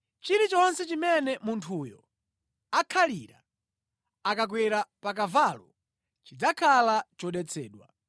“ ‘Chilichonse chimene munthuyo akhalira akakwera pa kavalo chidzakhala chodetsedwa.